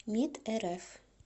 мид рф